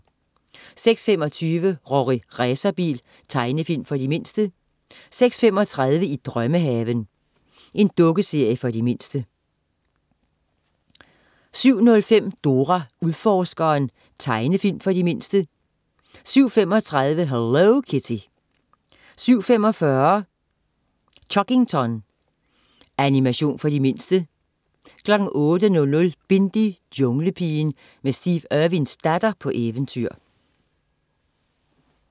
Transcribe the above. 06.25 Rorri Racerbil. Tegnefilm for de mindste 06.35 I drømmehaven. Dukkeserie for de mindste 07.05 Dora Udforskeren. Tegnefilm for de mindste 07.35 Hello Kitty 07.45 Chuggington. Animation for de mindste 08.00 Bindi: Junglepigen. Med Steve Irwins datter på eventyr